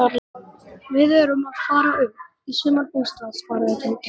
Við erum að fara upp í sumarbústað svaraði Tóti.